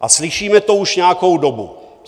A slyšíme to už nějakou dobu.